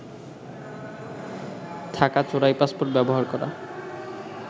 থাকা চোরাই পাসপোর্ট ব্যবহার করা